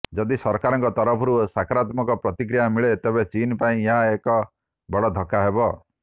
ଯଦି ସରକାରଙ୍କ ତରଫରୁ ସକରାତ୍ମକ ପ୍ରତିକ୍ରିୟା ମିଳେ ତେବେ ଚୀନ୍ ପାଇଁ ଏହା ଏକ ବଡ଼ ଧକ୍କା ହେବ